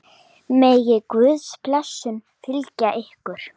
Megi Guðs blessun fylgja ykkur.